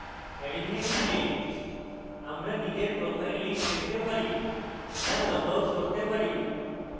admin we টিপলে আমরা নিজের profile links দেখতে পারি বা log out করতে পারি